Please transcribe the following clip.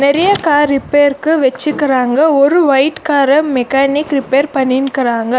நெறைய கார் ரிப்பேருக்கு வெச்சுக்குறாங்க ஒரு ஒயிட் கார மெக்கானிக் ரிப்பேர் பண்ணின்க்குறாங்க.